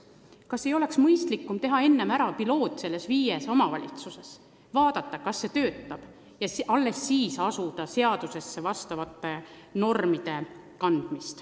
Kas ei oleks mõistlikum viia enne läbi pilootprojekt nendes viies omavalitsuses – vaadata, kas see töötab – ja kui töötab, alles siis kanda uued normid seadusesse?